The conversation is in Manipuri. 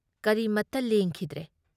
ꯀꯔꯤꯃꯠꯇ ꯂꯦꯡꯈꯤꯗ꯭ꯔꯦ ꯫